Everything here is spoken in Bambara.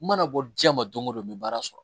N mana bɔ diɲɛ ma don go don n bɛ baara sɔrɔ